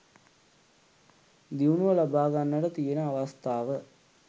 දියුණුව ලබාගන්නට තියෙන අවස්ථාව